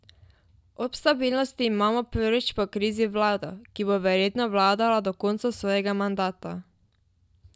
Ob stabilnosti imamo prvič po krizi vlado, ki bo verjetno vladala do konca svojega mandata.